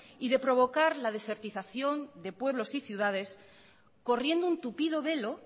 y de provocar la desertización de pueblos y ciudades corriendo un tupido velo